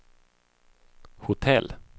hotell